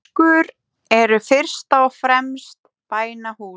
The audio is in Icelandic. Moskur eru fyrst og fremst bænahús.